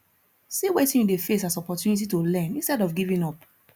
see wetin you de face as opportunity to learn instead of giving up